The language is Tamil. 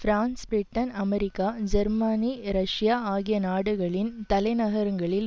France Britain America Germany Russia ஆகிய நாடுகளின் தலைநகரங்களில்